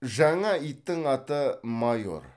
жаңа иттің аты майор